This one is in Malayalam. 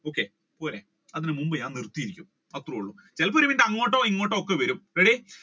okay പോരെ അതിന് മുൻപ് ഞാൻ നിർത്തിയിരിക്കും അത്രോള്ളു ചിലപ്പോ അങ്ങോട്ടോ ഇങ്ങോട്ടോ ഒത്തുവരും